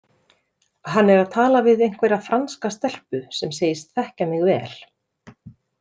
Hann er að tala við einhverja franska stelpu sem segist þekkja mig vel.